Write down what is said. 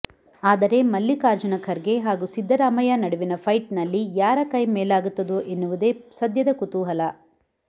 ಆದರೆ ಮಲ್ಲಿಕಾರ್ಜುನ ಖರ್ಗೆ ಹಾಗೂ ಸಿದ್ದರಾಮಯ್ಯ ನಡುವಿನ ಫೈಟ್ ನಲ್ಲಿ ಯಾರ ಕೈ ಮೇಲಾಗುತ್ತದೋ ಎನ್ನುವುದೇ ಸದ್ಯದ ಕುತೂಹಲ